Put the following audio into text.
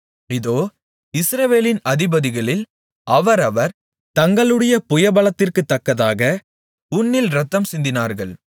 இதோ இஸ்ரவேலின் அதிபதிகளில் அவரவர் தங்களுடைய புயபலத்திற்குத் தக்கதாக உன்னில் இரத்தம் சிந்தினார்கள்